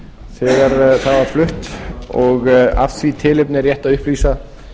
þegar það var flutt og af því tilefni er rétt að upplýsa